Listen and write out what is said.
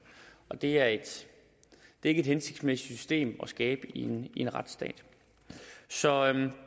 det er ikke et hensigtsmæssigt system at skabe i en retsstat så